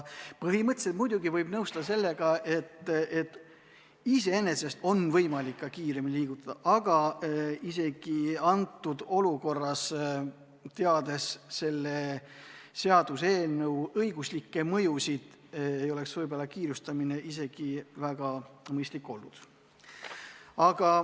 Põhimõtteliselt muidugi võib nõustuda, et iseenesest on võimalik asju ka kiiremini liigutada, aga praeguses olukorras, teades selle seaduseelnõu õiguslikke mõjusid, ei oleks kiirustamine ehk mõistlik olnud.